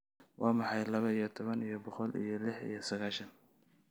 Waa maxay laba iyo toban iyo boqol iyo lix iyo sagaashan?